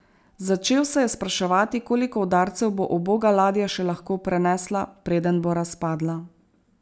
Začel se je spraševati, koliko udarcev bo uboga ladja še lahko prenesla, preden bo razpadla.